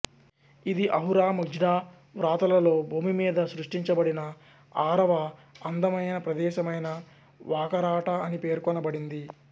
ఇది Ahura Mazda వ్రాతలలో భూమి మీద సృష్టించబడిన ఆరవ అందమైన ప్రదేశమైన వాకరాటా అని పేర్కొనబడింది